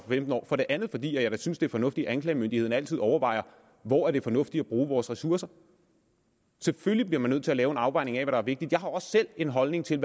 femten år for det andet fordi jeg da synes det er fornuftigt at anklagemyndigheden altid overvejer hvor det er fornuftigt at bruge ressourcerne selvfølgelig bliver man nødt til at lave en afvejning af hvad der er vigtigt jeg har også selv en holdning til